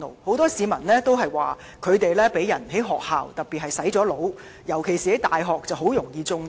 很多市民表示，學生在學校被"洗腦"，尤其在大學中很容易"中毒"。